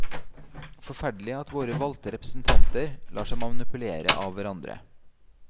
Forferdelig at våre valgte representanter lar seg manipulere av hverandre.